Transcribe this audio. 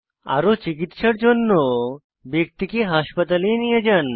আরও চিকিত্সার জন্য ব্যক্তিকে হাসপাতালে নিয়ে যান